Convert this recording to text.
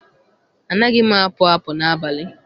Anaghị m apụ apụ n'abalị.